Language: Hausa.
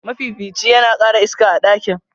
mafifici yana kara iska a ɗakin.